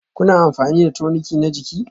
Kuna amfani da toniki na jini?